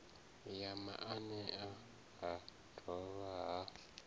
ya maanea ha dovha ha